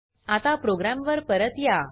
आता प्रोग्राम वर परत या